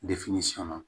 sɔnna